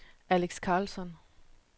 Alex Carlsson